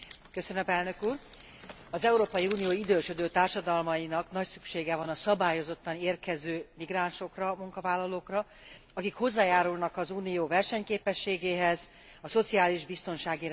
Az Európai Unió idősödő társadalmainak nagy szüksége van a szabályozottan érkező migránsokra, munkavállalókra, akik hozzájárulnak az Unió versenyképességéhez, a szociális biztonsági rendszerünk fenntartásához.